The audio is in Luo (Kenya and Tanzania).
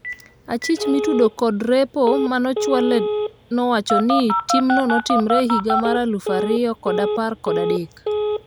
achich mitudo kod repo ,mane ochwal nowacho ni timno notimre higa mar alufu ariyo kod apar kod adek